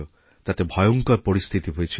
তাতে ভয়ঙ্কর পরিস্থিতি হয়েছিল